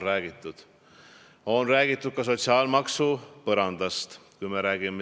Ametiühingute poole pealt on räägitud ka sotsiaalmaksu põrandast.